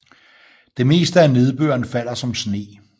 Det meste af nedbøren falder som sne